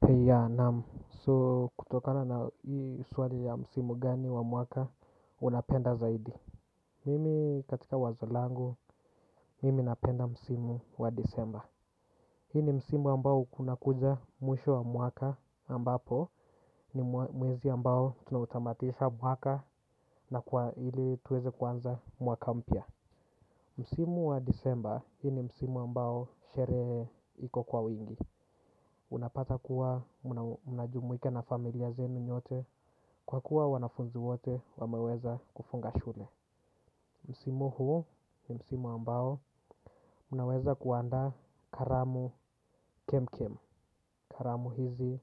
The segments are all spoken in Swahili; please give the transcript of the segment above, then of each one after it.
Bei ya, naam, so kutokana na hii swali ya msimu gani wa mwaka unapenda zaidi. Mimi katika wazo langu, mimi napenda msimu wa disemba. Hii ni msimu ambao kunakuja mwisho wa mwaka ambapo ni mwezi ambao tunautamatisha mwaka na kwa ili tuweze kuanza mwaka mpya. Msimu wa disemba, hii ni msimu ambao sherehe iko kwa wingi. Unapata kuwa mnajumuika na familia zenu nyote kwa kuwa wanafunzi wote wameweza kufunga shule. Msimu huu ni msimu ambao unaweza kuandaa karamu kemkem. Karamu hizi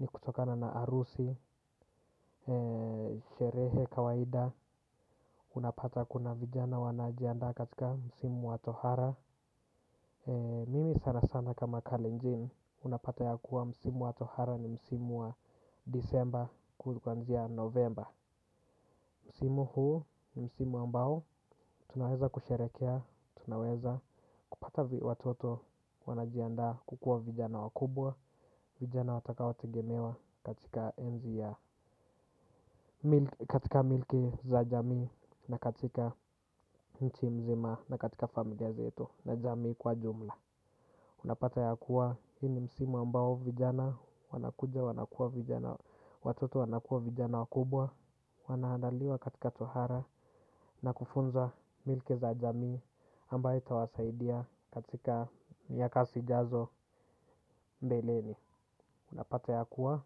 ni kutokana na arusi, sherehe, kawaida. Unapata kuna vijana wanajiandaa katika msimu wa tohara. Mimi sana sana kama kalenjin. Unapata ya kuwa msimu wa tohara ni msimu wa disemba kuanzia novemba. Msimu huu ni msimu ambao tunaweza kusherekea, tunaweza kupata watoto wanajiandaa kukua vijana wakubwa, vijana watakaotegemewa katika enzi ya katika milki za jamii na katika nchi mzima na katika familia zetu na jamii kwa jumla. Unapata ya kuwa, hii ni msimu ambao vijana, wanakuja, wanakua vijana, watoto wanakua vijana wakubwa. Wanaandaliwa katika tohara na kufunza milki za jamii ambao itawasaidia katika miaka zijazo mbeleni. Unapata ya kuwa,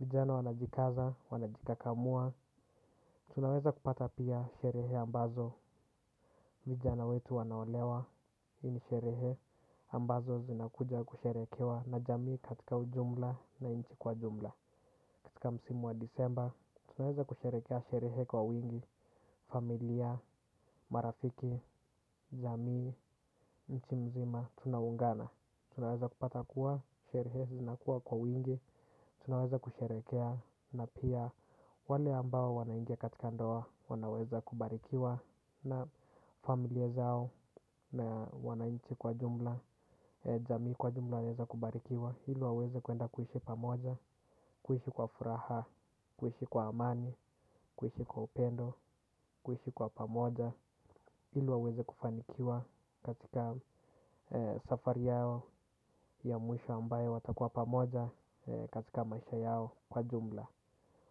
vijana wanajikaza, wanajikakamua. Tunaweza kupata pia sherehe ambazo, vijana wetu wanaolewa, hii ni sherehe ambazo zinakuja kusherekewa na jamii katika ujumla na nchi kwa jumla. Katika msimu wa disemba, tunaweza kusherekea sherehe kwa wingi. Familia, marafiki, jamii, nchi mzima, tunaungana. Tunaweza kupata kuwa, sherehe zinakuwa kwa wingi. Tunaweza kusherekea na pia wale ambao wanaingia katika ndoa. Wanaweza kubarikiwa na familia zao na wananchi kwa jumla. Jamii kwa jumla wanaeza kubarikiwa. Hilo waweze kuenda kuishi pamoja. Kuishi kwa furaha. Kuishi kwa amani. Kuishi kwa upendo. Kuishi kwa pamoja ili waweze kufanikiwa. Katika safari yao ya mwisho ambayo watakuwa pamoja. Katika maisha yao kwa jumla.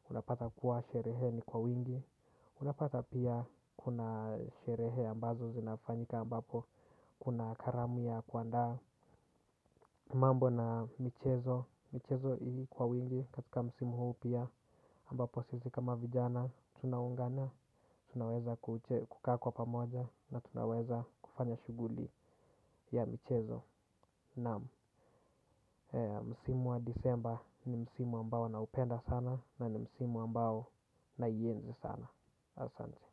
Unapata kuwa sherehe ni kwa wingi. Unapata pia kuna sherehe ambazo zinafanyika ambapo kuna karamu ya kuandaa mambo na michezo michezo kwa wingi katika msimu huu pia ambapo sisi kama vijana tunaungana tunaweza kukaa kwa pamoja na tunaweza kufanya shughuli ya michezo naam msimu wa disemba ni msimu ambao naupenda sana na ni msimu ambao naienzi sana asante.